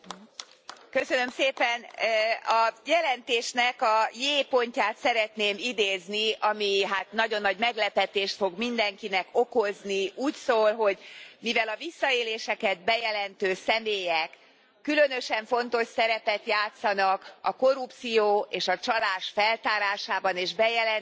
Elnök Úr, a jelentésnek a J. pontját szeretném idézni, ami hát nagyon nagy meglepetést fog mindenkinek okozni, úgy szól, hogy mivel a visszaéléseket bejelentő személyek különösen fontos szerepet játszanak a korrupció és a csalás feltárásában és bejelentésében,